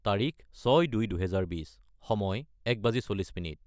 : তাৰিখ 06-02-2020 : সময় 1340